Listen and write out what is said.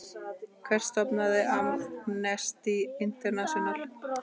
Hver stofnaði Amnesty International?